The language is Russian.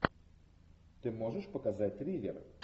ты можешь показать триллер